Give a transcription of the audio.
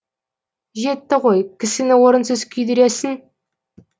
жетті ғой кісіні орынсыз күйдіресің